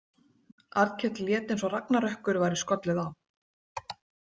Arnkell lét eins og ragnarökkur væri skollið á.